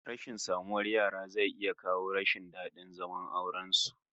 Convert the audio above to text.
Rashin samun yara zai iya kawo rashin dadin zaman auren wasu